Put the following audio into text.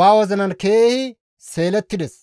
ba wozinan keehi seelettides.